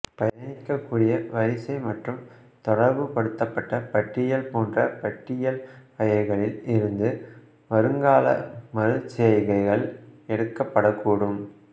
பயணிக்கக் கூடிய வரிசை மற்றும் தொடர்பு படுத்தபட்ட பட்டியல் போன்ற பட்டியல் வகைகளில் இருந்து வருங்கால மறுசெய்கைகள் எடுக்கப்படக் கூடும்